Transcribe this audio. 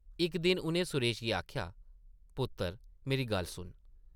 इक दिन उʼनें सुरेश गी आखेआ, पुत्तर मेरी गल्ल सुन ।